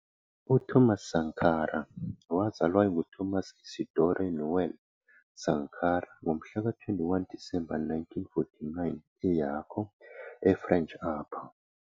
UThomas Sankara wazalwa enguThomas Isidore Noël Sankara ngomhlaka 21 Disemba 1949 eYako, eFrench Upper